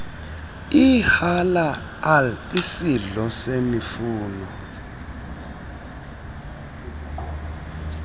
ihalaal isidlo semifuno